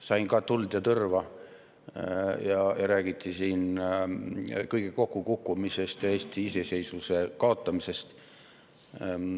Sain tuld ja tõrva, räägiti kõige kokkukukkumisest ja Eesti iseseisvuse kaotamisest.